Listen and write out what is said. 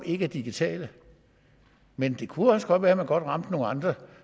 ikke er digitale men det kunne godt være at man også rammer nogle andre